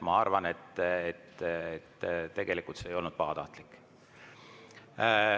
Ma arvan, et tegelikult see ei olnud pahatahtlik.